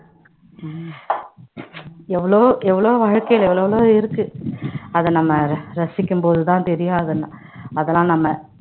உம் எவ்வளோ எவ்வளவோ வாழ்க்கையில எவ்வளவோ இருக்கு அத நம்ம ரசிக்கும் போதுதான் தெரியும் அதெல்~ அதெல்லாம் நம்ம